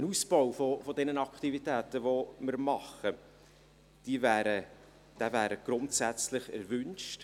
Ein Ausbau unserer Aktivitäten wäre grundsätzlich erwünscht.